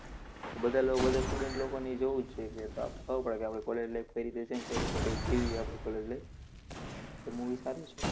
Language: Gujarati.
બધા લોકો, બધા student લોકોને ઈ જોવું જ જોઈએ કે થાવું પડે કે આપડે college life કઈ રીતે છેને કઈ રીતે કઈ જીવીએ આપણે college life? તો movie સારું છે.